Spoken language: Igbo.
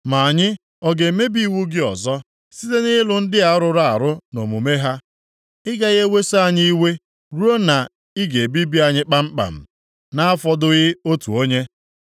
Ma anyị ọ ga-emebi iwu gị ọzọ, site nʼịlụ ndị a rụrụ arụ nʼomume ha? Ị gaghị eweso anyị iwe ruo na ị ga-ebibi anyị kpamkpam, na-afọdụghị otu onye?